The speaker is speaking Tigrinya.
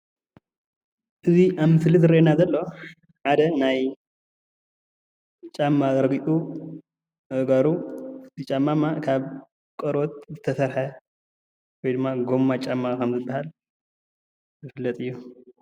እዚ ኣብ ምስሊ ዝረአየና ዘሎ ሓደ ናይ ጫማ ረጉፁኣእጋሩ ክፍቲ ጫማ ካብ ቆርበት ዝተሰርሐ ወይ ድማ ጎማ ጫማ ከም ዝገበረ ዝፍለጥ እዩ፡